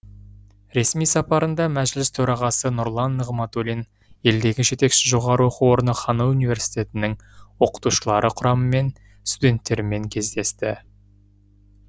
ресми сапарында мәжіліс төрағасы нұрлан нығматуллин елдегі жетекші жоғары оқу орны ханой университетінің оқытушылар құрамымен студенттерімен кездесті